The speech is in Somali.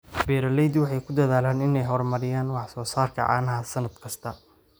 Beeraleydu waxay ku dadaalaan inay horumariyaan wax soo saarka caanaha sannad kasta.